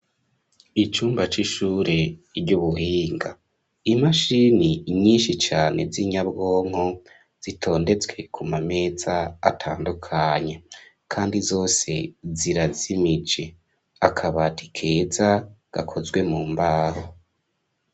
Icumba c'ishure ry'ubuhinga. Imashini inyinshi cyane z'inyabwonko zitondetswe ku mameza atandukanye kandi zose zirazimije akabaatikeza gakozwe mu mbaho.